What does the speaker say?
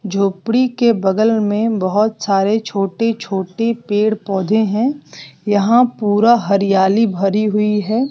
झोपड़ी के बगल में बहुत सारे छोटे छोटे पेड़ पौधे हैं यहां पूरा हरियाली भरी हुई है।